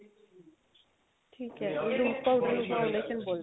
ਠੀਕ ਏ ਇਹ lose powder ਨੂੰ foundation ਬੋਲਦੇ ਆ